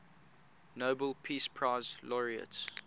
nobel peace prize laureates